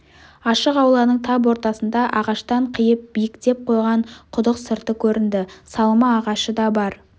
ашық ауланың тап ортасында ағаштан қиып биіктеп қойған құдық сырты көрінді салма ағашы да бар